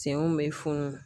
Senw bɛ funu